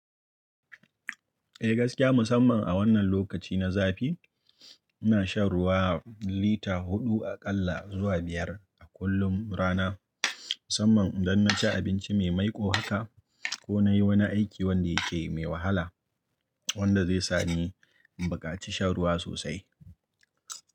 Eh gaskiya musamman a wannan lokaci na zafi ina shan ruwa lita huɗu a ƙalla zuwa biyar a kullum rana musamman idan naci abinci mai maiko haka ko nayi wani aiki wanda yake mai wahala wanda zai sani in bukaci shan ruwa sosai.